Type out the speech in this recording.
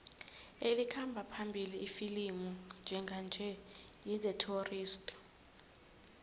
elikhamba phambili ifilimu njenganje yi the tourist